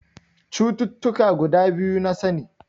Cututtuka guda biyu na sani.